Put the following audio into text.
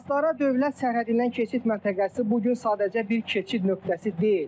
Astara dövlət sərhədindən keçid məntəqəsi bu gün sadəcə bir keçid nöqtəsi deyil.